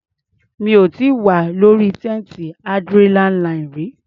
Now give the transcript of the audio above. Mi ò tíì wà lórí téńté adrenaline rí.